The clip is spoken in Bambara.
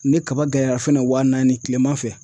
Ni kaba gɛlɛyara fɛnɛ wa naani kilema fɛ.